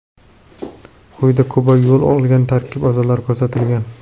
Quyida Kubaga yo‘l qolgan tarkib a’zolari ko‘rsatilgan.